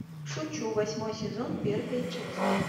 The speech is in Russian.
шучу восьмой сезон первая часть